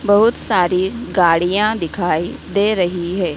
बहुत सारी गाड़िया दिखाई दे रही हैं।